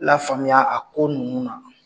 Lafaamuya a ko nimu na.